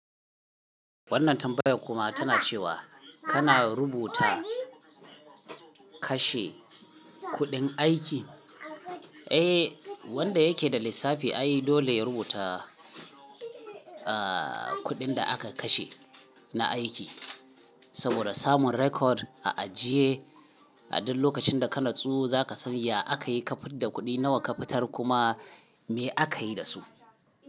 Wannan tambayar kuma tana cewa kana rubuta kashe kuɗin aiki? Eh, wanda yake da lissafi ai dole ya rubuta, kuɗin da aka kashe na aiki saboda samun record a ajiye. A duk lokacin da kana tsu za ka san ya aka yi kafidda kuɗi nawa ka fitar kuma me aka yi da su.